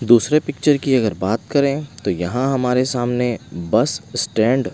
दूसरे पिक्चर की अगर बात करें तो यहां हमारे सामने बस स्टैंड --